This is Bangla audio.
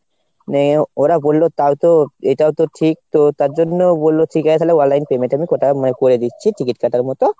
মানে ওরা বললো তাও তো এটাও তো ঠিক তো তার জন্য বললো ঠিক আছে তাহলে online payment আমি তাও মানে আমি করে দিচ্ছি ticket কাটার মতো।